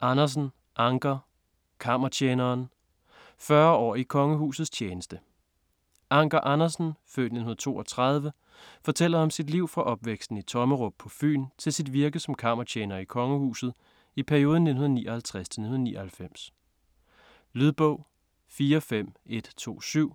Andersen, Anker: Kammertjeneren: 40 år i kongehusets tjeneste Anker Andersen (f. 1932) fortæller om sit liv fra opvæksten i Tommerup på Fyn til sit virke som kammertjener i kongehuset i perioden 1959-1999. Lydbog 45127